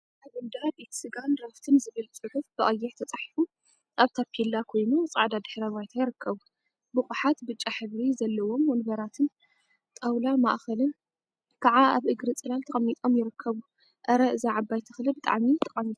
አብ እንዳ ቤት ስጋን ድራፍትን ዝብል ፅሑፍ ብቀይሕ ተፃሒፉ አብ ታፔላ ኮይኑ፤ ፃዕዳ ድሕረ ባይታ ይርከቡ፡፡ ቡቁሓት ብጫ ሕብሪ ዘለዎም ወንበራትን ጣውላ ማእከልን ከዓ አብ እግሪ ፅላል ተቀሚጦም ይርከቡ፡፡ አረ እዛ ዓባይ ተክሊ ብጣዕሚ ጠቃሚት እያ፡፡